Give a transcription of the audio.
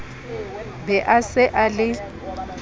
be a se a le